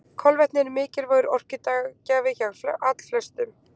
kolvetni eru mikilvægur orkugjafi hjá allflestum